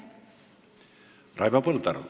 Raivo Põldaru.